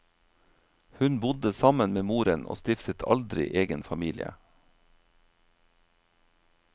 Hun bodde sammen med moren og stiftet aldri egen familie.